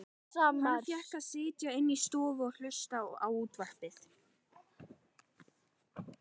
Hann fékk að sitja inni í stofu og hlusta á útvarpið.